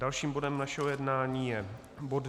Dalším bodem našeho jednání je bod